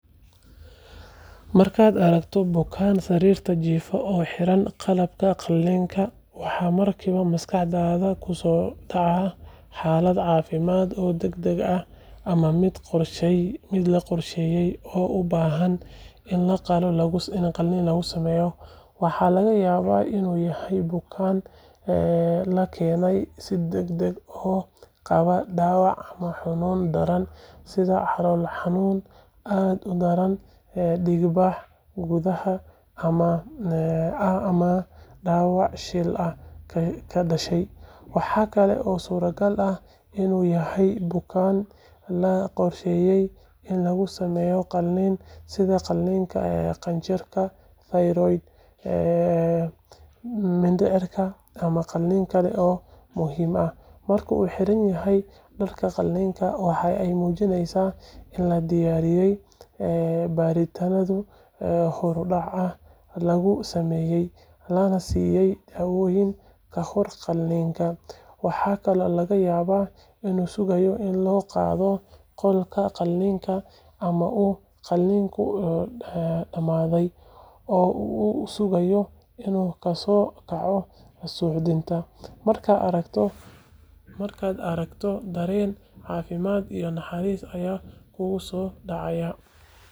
Markaad aragto bukaan sariirta jiifa oo xiran dharka qalliinka, waxa markiiba maskaxdaada ku soo dhaca xaalad caafimaad oo degdeg ah ama mid qorshaysan oo u baahan in qalliin lagu sameeyo. Waxa laga yaabaa inuu yahay bukaan la keenay si degdeg ah oo qaba dhaawac ama xanuun daran sida calool xanuun aad u daran, dhiigbax gudaha ah ama dhaawac shil ah ka dhashay. Waxa kale oo suuragal ah inuu yahay bukaan la qorsheeyay in lagu sameeyo qalliin sida qalliinka qanjirka 'thyroid', mindhicirka ama qalliin kale oo muhiim ah. Marka uu xiran yahay dharka qalliinka, waxa ay muujinaysaa in la diyaariyay, baaritaano horudhac ah lagu sameeyay, lana siiyay daawooyin ka hor qalliinka. Waxa kaloo laga yaabaa inuu sugayo in loo qaado qolka qalliinka ama uu qalliinku dhammaaday oo uu sugayo inuu ka soo kaco suuxdinta. Markaad aragto, dareen caafimaad iyo naxariis ayaa kugu soo dhacaya.